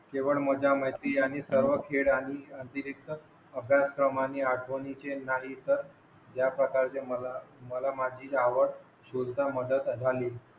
जे पण मज्जा मस्ती आणि सर्व खेळ आणि अतिरिक्त अभ्यासक्रम आणि आठवणींचे नाही तर ज्या प्रकारचे मला माझी गाव ची सुद्धा मदत झाली